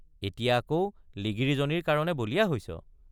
এতিয়া আকৌ লিগিৰীজনীৰ কাৰণে বলিয়া হৈছে?